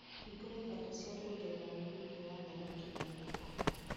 Hingũra iganda cia kuongerera uumithio wa thamaki na thoko